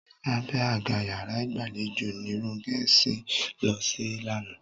Abẹ́ àga yàrá ìgbàlejò ni Ronkẹ́ sùn lọ sí lánàá